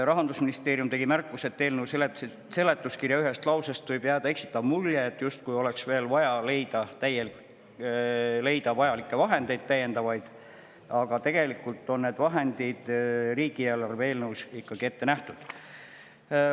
Rahandusministeerium tegi märkuse, et eelnõu seletuskirja ühest lausest võib jääda eksitav mulje, justkui oleks veel vaja leida täiendavaid vahendeid, aga tegelikult on need vahendid riigieelarve eelnõus ette nähtud.